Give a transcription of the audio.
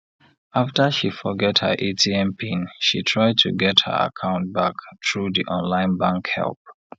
after she forget her atm pin she try to get her account back through di online bank help